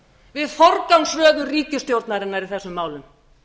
við forgangsröðun ríkisstjórnarinnar í þessum málum